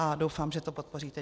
A doufám, že to podpoříte.